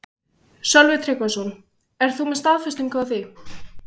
Sölvi Tryggvason: Ert þú með staðfestingu á því?